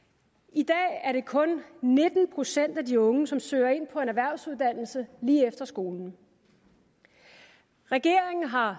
i dag er det kun nitten procent af de unge som søger ind på en erhvervsuddannelse lige efter skolen regeringen har